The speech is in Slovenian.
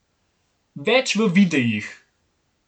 Več v videih!